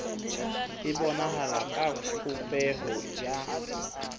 e bonahala ka popeho ya